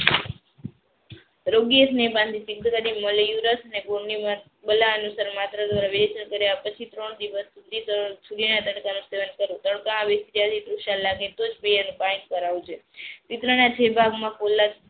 રોગીય સ્નેહ બાળા અનુસાર માત્ર ધ્વારા પછી ત્રણ દિવસ સુધી સેવન કરવું.